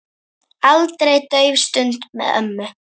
Aldrei dauf stund með ömmu.